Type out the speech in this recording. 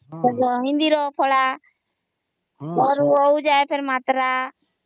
ହିନ୍ଦୀ ର ଫଳା ଅ ରୁ ଅଉ ଯାଏ ମାତ୍ରା ହଁ